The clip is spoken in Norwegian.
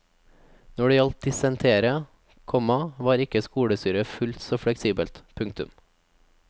Når det gjaldt dissentere, komma var ikke skolestyret fullt så fleksibelt. punktum